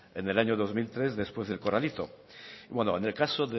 en el año dos mil tres después del corralito bueno en el caso